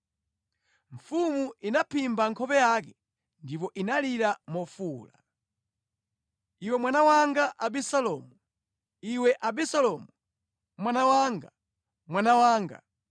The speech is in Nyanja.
Mfumu inaphimba nkhope yake ndipo inalira mofuwula, “Iwe mwana wanga Abisalomu! Iwe Abisalomu, mwana wanga, mwana wanga!”